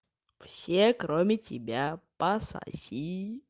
все кроме тебя пососи